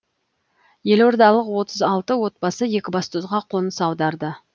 елордалық отыз алты отбасы екібастұзға қоныс аударды